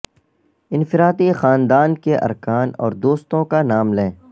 انفرادی خاندان کے ارکان اور دوستوں کا نام لیں